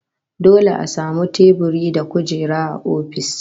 Dole a samu teburi da kujera a ofis